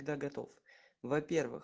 да готов во первых